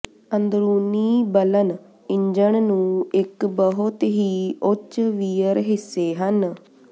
ਅੰਦਰੂਨੀ ਬਲਨ ਇੰਜਣ ਨੂੰ ਇੱਕ ਬਹੁਤ ਹੀ ਉੱਚ ਵੀਅਰ ਹਿੱਸੇ ਹਨ